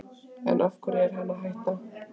En af hverju er hann að hætta?